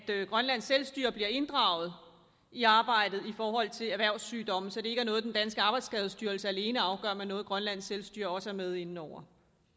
grønlands selvstyre blive inddraget i arbejdet i forhold til erhvervssygdomme så det ikke er noget den danske arbejdsskadestyrelse alene afgør men noget grønlands selvstyre også er med inde over